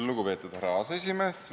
Lugupeetud härra aseesimees!